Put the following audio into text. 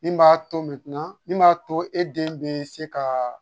Min b'a to min b'a to e den bɛ se ka